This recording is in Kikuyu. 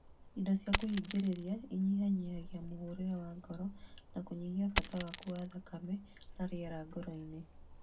Indo cia kũhingĩrĩria inyihanyihagia mũhũrĩre wa ngoro na kũnyihia bata waku wa thakame na rĩera ngoro-inĩ